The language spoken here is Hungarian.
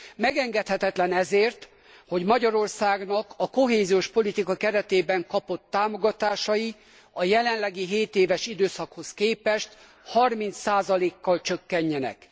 Megengedhetetlen ezért, hogy Magyarországnak a kohéziós politika keretében kapott támogatásai a jelenlegi 7 éves időszakhoz képest 30 kal csökkenjenek.